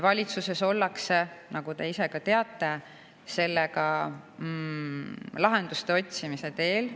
Valitsuses ollakse, nagu te ise ka teate, sellega lahenduste otsimise teel.